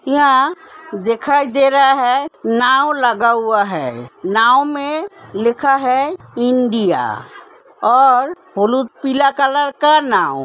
यहाँ दिखाई दे रहा है नाव लगा हुआ है नाव में लिखा है इंडिया और हुलु पिला कलर का नाव --